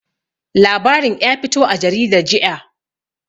Labarin ƴa fito a jaridar jiƴa.